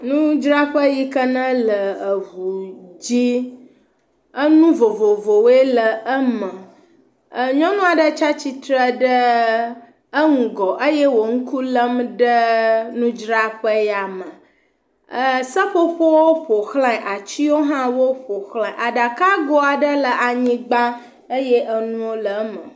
Nudzraƒe yi ke nele ŋu dzi. Nu vovovowoe le eme. Nyɔnu aɖe tsi atsitre ɖe eŋgɔ eye wole ŋku lém ɖe nudzraƒe ya me. Seƒoƒowo ƒo xlã, ati hã woƒo xlãe. Aɖakago aɖe le anyigba eye nuwo le eme.